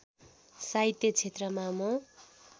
साहित्य क्षेत्रमा म